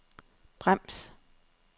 brems